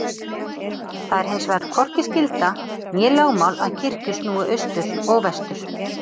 Það er hinsvegar hvorki skylda né lögmál að kirkjur snúi austur og vestur.